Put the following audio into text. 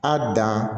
A dan